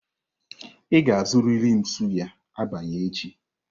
Ị ga-azụrịrị m suyà abalị echi!